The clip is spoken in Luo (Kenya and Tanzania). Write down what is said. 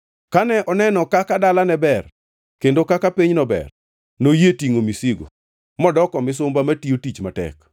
Kane oneno kaka dalane ber, kendo kaka pinyno ber, noyie tingʼo misigo modoko misumba matiyo tich matek.